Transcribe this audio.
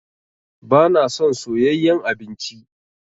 Ba na son soyayen abinci